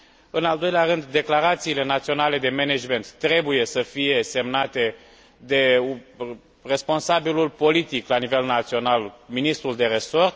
În al doilea rând, declarațiile naționale de management trebuie să fie semnate de responsabilul politic la nivel național, ministrul de resort.